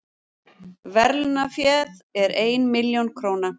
Verðlaunaféð er ein milljón króna